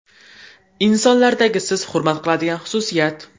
Insonlardagi siz hurmat qiladigan xususiyat?